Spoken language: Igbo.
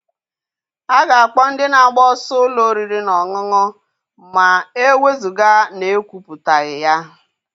A ga-akpọ ndị na-agba ọsọ ụlọ oriri na ọṅụṅụ ma e wezụga na ekwuputaghị ya.